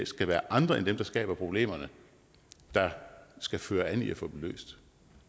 skal være andre end dem der skaber problemerne der skal føre an i at få dem løst